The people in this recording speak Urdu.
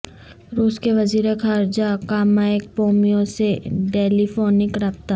روس کے وزیر خارجہ کامائیک پومپیو سے ٹیلیفونک رابطہ